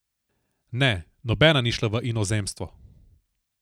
Ne, nobena ni šla v inozemstvo.